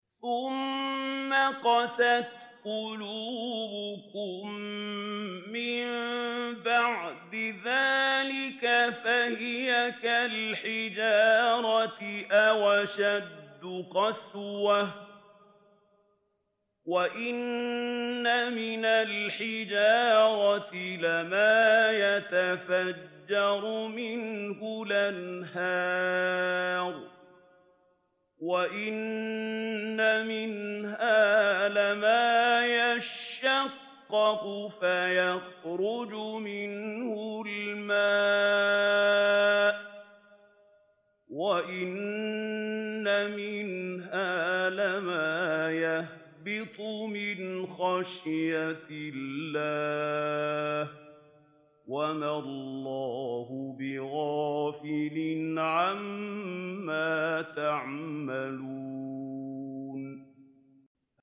ثُمَّ قَسَتْ قُلُوبُكُم مِّن بَعْدِ ذَٰلِكَ فَهِيَ كَالْحِجَارَةِ أَوْ أَشَدُّ قَسْوَةً ۚ وَإِنَّ مِنَ الْحِجَارَةِ لَمَا يَتَفَجَّرُ مِنْهُ الْأَنْهَارُ ۚ وَإِنَّ مِنْهَا لَمَا يَشَّقَّقُ فَيَخْرُجُ مِنْهُ الْمَاءُ ۚ وَإِنَّ مِنْهَا لَمَا يَهْبِطُ مِنْ خَشْيَةِ اللَّهِ ۗ وَمَا اللَّهُ بِغَافِلٍ عَمَّا تَعْمَلُونَ